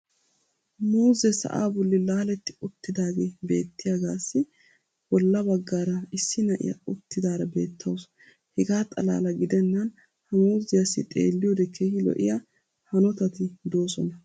muuzzee sa"aa boli laaletti uttidaagee beettiyaagaassi bola bagaara issi na'iyaa uttidaara beetawusu. hegaa xalaala gidennan ha muuzziyaassi xeelliyoode keehi lo'iya hanottatti doosona.